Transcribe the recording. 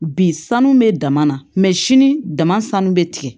Bi sanu bɛ dama na sini dama sanu bɛ tigɛ